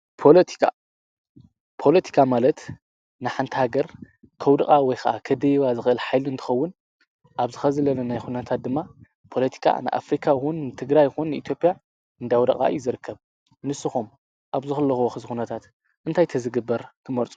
ፖሎቲካ፡- ፖለቲካ ማለት ንሓንቲ ሃገር ከውድቓ ወይ ኸዓ ኸደይባ ዝኽል ሓይሊ እንትኸውን ኣብዝ ኸዚ ለለናዮ ኹነታት ድማ ፖለቲካ ንኣፍሪካውን ንትግራይ ይኹን ንኢትዮጵያ እንዳውደቓ እዩ ዝርከብ፡፡ ንስኹም ኣብዝኸለኹምሉ ኹነታት እንታይ ተዝግበር ትመርጹ?